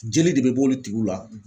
Jeli de be b'olu tigiw la